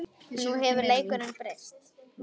Nú hefur leikurinn breyst